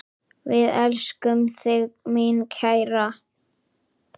Við elskum þig, mín kæra.